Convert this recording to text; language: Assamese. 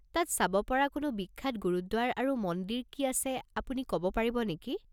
তাত চাব পৰা কোনো বিখ্যাত গুৰুদ্বাৰ আৰু মন্দিৰ কি আছে আপুনি ক'ব পাৰিব নেকি?